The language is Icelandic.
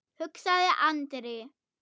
hugsaði Andri.